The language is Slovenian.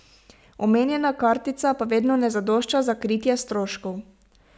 Omenjena kartica pa vedno ne zadošča za kritje stroškov.